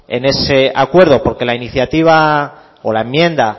en ese acuerdo porque la iniciativa o la enmienda